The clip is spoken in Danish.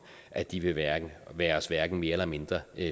at de vil være være os hverken mere eller mindre